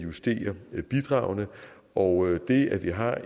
vi skal give borgerne